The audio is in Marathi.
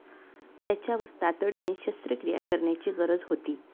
त्याच्यावर तातडीने शस्त्रक्रिया करण्याची गरज होती.